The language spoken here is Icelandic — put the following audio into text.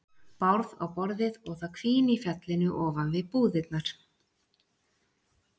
Bárð á borðið og það hvín í fjallinu ofan við búðirnar.